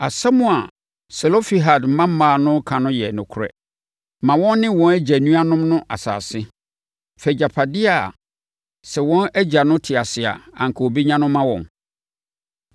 “Asɛm a Selofehad mmammaa no ka no yɛ nokorɛ. Ma wɔn ne wɔn agya nuanom no asase. Fa agyapadeɛ a sɛ wɔn agya no te ase a anka ɔbɛnya no ma wɔn.